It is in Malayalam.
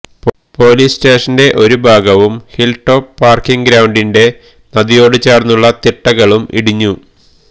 പൊലീസ് സ്റ്റേഷന്റെ ഒരു ഭാഗവും ഹില്ടോപ്പ് പാര്ക്കിങ് ഗ്രൌണ്ടിന്റെ നദിയോടു ചേര്ന്നുള്ള തിട്ടകളും ഇടിഞ്ഞു